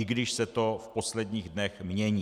I když se to v posledních dnech mění.